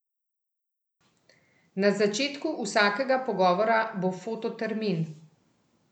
Na začetku vsakega pogovora bo fototermin.